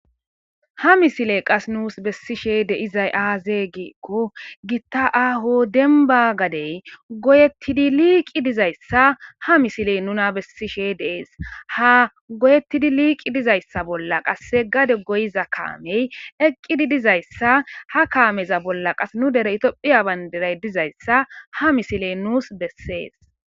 Ha missile qase nusi beshi de'izaysi azze gikko Gita aho demba gadey goyetidi liqi dizaysa he a missile nuna besishe de'es. Ha goyetidi liqi dizaysa bolla qase gade goyiza kamey eqidi dizaysa ha kameza bolla nu dere tophiy bandiray dizayisa ha missile nuna beses.